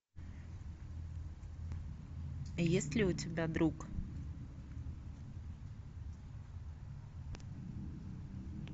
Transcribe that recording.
есть ли у тебя друг